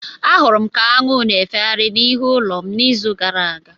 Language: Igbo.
Ahụrụ m ka aṅụ na-efegharị n'ihu ulo m n'izu gara aga.